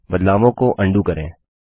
बदलावों को अंडू करें